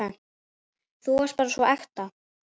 Þú varst bara svo ekta.